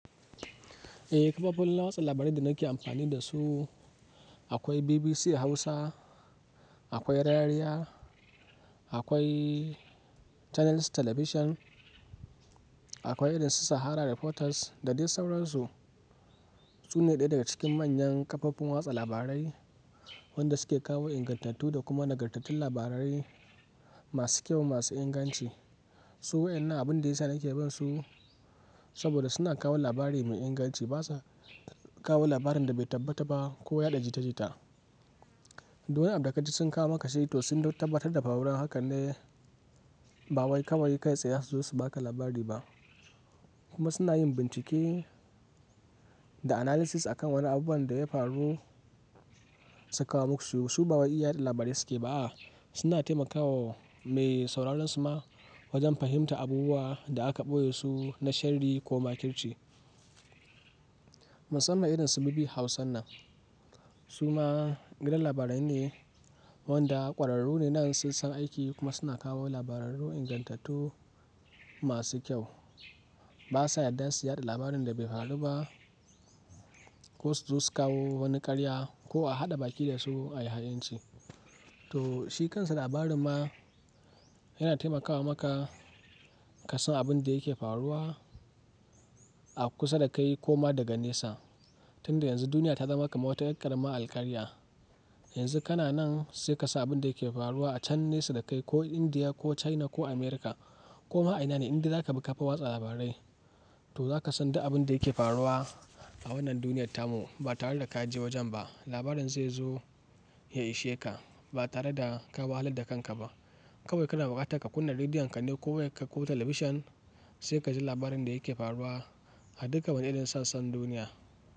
Eh, kafofin watsa labarai da nake amfani dasu akwai BBC Hausa, akwai Rariya, akwai Channels Television, akwai irin su Sahara Reporters da dai sauransu. Su ne ɗaya daga cikin manyan kafofin watsa labarai wanda suke kawo ingantattu da kuma nagartattun labarai masu kyau masu inganci. Su waɗannan abun da ya sa nake bin su saboda suna kawo labari mai inganci. Ba sa kawo labarin da bai tabbata ba ko yaɗa jita-jita. Duk waɗanda ka ji sun kawo maka shi to sun tabbatar da faruwar Haka ne, ba wai kawai kai tsaye su zo su ba ka labari ba kuma suna yin bincike da analysis a kan wani abubuwan da ya faru su kawo muku su. Su ba wai iyaɗa labarai suke ba a suna taimakawa mai sauraron su ma wajen fahimtar abubuwan da aka ɓoye su na sharri ko makirci. Musamman irin su BBC Hausan nan. Su ma gidan labarai ne wanda ƙwararru ne nan sun san aiki kuma suna kawo labararu ingantattu masu kyau. Ba sa yadda su yaɗa labarin da bai faru ba ko su zo su kawo wani karya ko a haɗa baki da su a yi ha'inci. To shi kansa labarin ma yana taimakawa maka ka san abin da yake faruwa a kusa da kai ko ma daga nesa. Tunda yanzu duniya ta zama kamar wata yar ƙarama alƙaliya. Yanzu kana nan sai ka san abin da yake faruwa a can nesa da kai ko Indiya ko China ko America ko ma a ina ne inda za ka bi kafa watsa labarai. To za ka san duk abin da yake faruwa a wannan duniyar ta mu ba tare da ka je wajen ba. Labarin zai zo ya ishe ka ba tare da ka wahalar da kanka ba. Kawai kana buƙatar ka kunna rediyon ka ne ko wai ka koya talabishin sai ka ji labarin da yake faruwa a duka wajen sassan duniya.